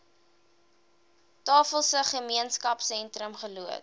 tafelsig gemeenskapsentrum geloods